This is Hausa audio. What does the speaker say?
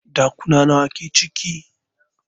Ɗakuna nawa ke ciki?